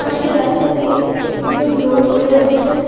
সামনের রাস্তা দিয়ে দুজন লোক চলে যাচ্ছেন।